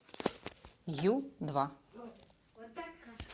ю два